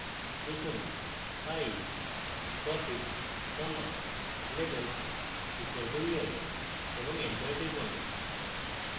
লিখুন pie profit comma labels equal to year এবং enter টিপুন